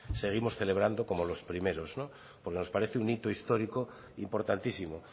seguimos celebrando como los primeros porque nos parece un hito histórico importantísimo